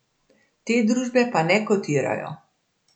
Te družbe pa ne kotirajo.